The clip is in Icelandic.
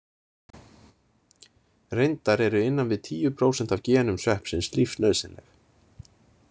Reyndar eru innan við tíu prósent af genum sveppsins lífsnauðsynleg.